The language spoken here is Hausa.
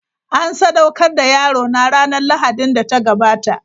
An sadaukar da yarona ranar Lahadin da ta gabata.